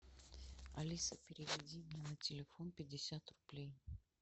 алиса переведи мне на телефон пятьдесят рублей